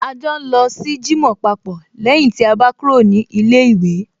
A jọ ń lọ sí jímọ̀ papọ̀ lẹ́yìn tí a bá kúrò ní ilé ìwé